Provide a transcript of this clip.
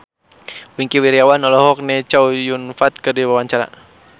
Wingky Wiryawan olohok ningali Chow Yun Fat keur diwawancara